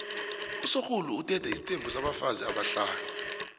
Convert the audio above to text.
usorhulu uthethe isithembu sabafazi abahlanu